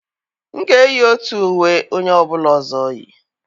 M ga-eyi otu uwe onye ọ bụla ọzọ yi.